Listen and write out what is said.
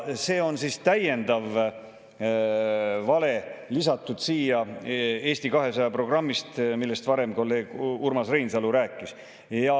See oli siis täiendav vale, mis siia sai lisatud Eesti 200 programmist, millest kolleeg Urmas Reinsalu rääkis.